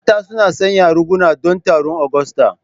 Mata suna sanya riguna don taron Agusta.